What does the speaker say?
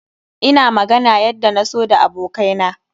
Ina magana yadda na so da abokai na.